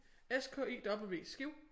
S k i w Skive